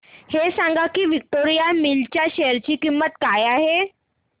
हे सांगा की विक्टोरिया मिल्स च्या शेअर ची किंमत काय आहे